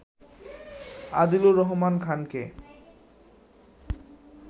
আদিলুর রহমান খানকে